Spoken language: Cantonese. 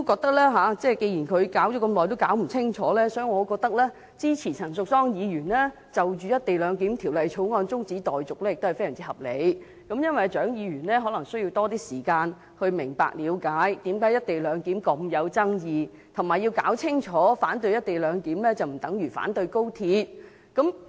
但是，既然她弄了這麼久也弄不清，我認為支持陳淑莊議員就《廣深港高鐵條例草案》提出的中止待續議案，也非常合理，因為蔣議員可能需要多一些時間了解為何"一地兩檢"如此具爭議，並且弄清楚反對"一地兩檢"不等於反對高鐵。